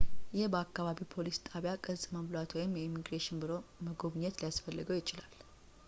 ይህ በአከባቢው ፖሊስ ጣቢያ ቅጽ መሙላት ወይም የኢሚግሬሽን ቢሮ መጎብኘት ሊያስፈልገው ይችላል